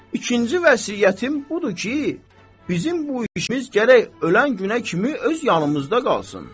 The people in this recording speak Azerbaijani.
İkinci vəsiyyətim budur ki, bizim bu işimiz gərək ölən günə kimi öz yanımızda qalsın.